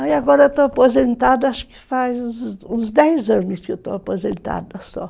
Aí agora eu estou aposentada, acho que faz uns dez anos que eu estou aposentada só.